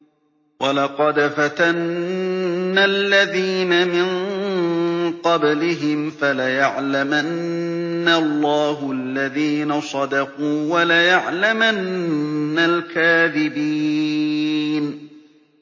وَلَقَدْ فَتَنَّا الَّذِينَ مِن قَبْلِهِمْ ۖ فَلَيَعْلَمَنَّ اللَّهُ الَّذِينَ صَدَقُوا وَلَيَعْلَمَنَّ الْكَاذِبِينَ